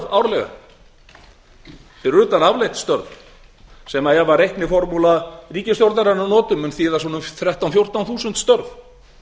árlega fyrir utan afleidd störf sem ef reikniformúlu ríkisstjórnarinnar að lokum mun þýða svona þrettán til fjórtán þúsund störf